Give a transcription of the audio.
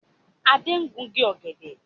Adé ń gungi ọ̀gẹ̀dẹ̀